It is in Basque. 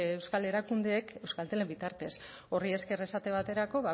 euskal erakundeek euskaltelen bitartez horri esker esate baterako